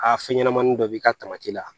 Aa fɛn ɲɛnamani dɔ b'i ka la